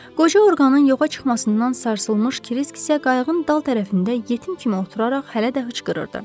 Qoca orqanın yoxa çıxmasından sarsılmış Krisk isə qayığın dal tərəfində yetim kimi oturaraq hələ də hıçqırırdı.